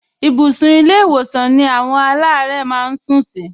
Ibùsùn ilé-ìwòsàn ni àwọn aláàárẹ̀ máa ń sún sí